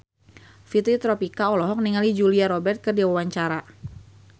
Fitri Tropika olohok ningali Julia Robert keur diwawancara